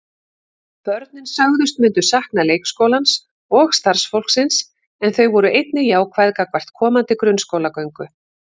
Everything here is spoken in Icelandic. Börnin sögðust myndu sakna leikskólans og starfsfólksins en þau voru einnig jákvæð gagnvart komandi grunnskólagöngu.